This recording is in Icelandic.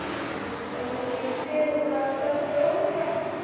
Engin fluga að stanga rúðuna.